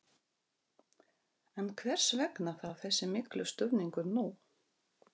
En hvers vegna þá þessi miklu stuðningur nú?